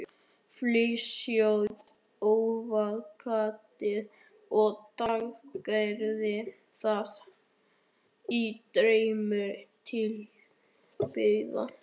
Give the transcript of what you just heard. Flysjið avókadóið og skerið það í fremur litla bita.